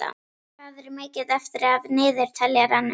Nína, hvað er mikið eftir af niðurteljaranum?